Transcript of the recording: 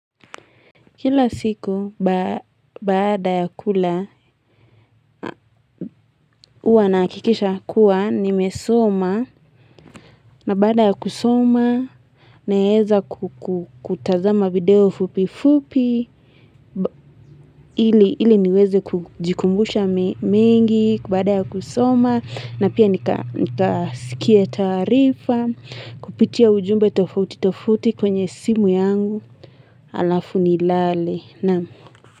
Kila siku baada ya kula huwa nahakikisha kuwa nimesoma na baada ya kusoma naweza kutazama video fupi fupi ili niweze kujikumbusha mengi baada ya kusoma na pia nikasikie taarifa kupitia ujumbe tofauti tofauti kwenye simu yangu alafu nilale na.